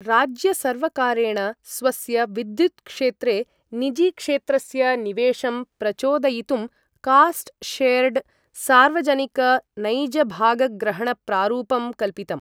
राज्यसर्वकारेण स्वस्य विद्युत्क्षेत्रे निजीक्षेत्रस्य निवेशं प्रचोदयितुं कास्ट् शेर्ड् सार्वजनिकनैजभागग्रहणप्रारूपं कल्पितम्।